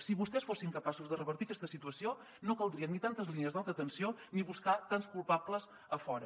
si vostès fossin capaços de revertir aquesta situació no caldrien ni tantes línies d’alta tensió ni buscar tants culpables a fora